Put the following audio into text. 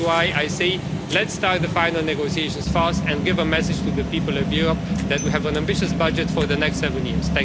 This is why I say let's start the final negotiations fast and give a message to the people of Europe that we have an ambitious budget for the next seven years.